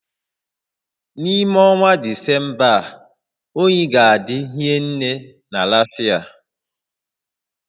N'ime ọnwa Disemba a, oyi ga-adị hinne na Lafịa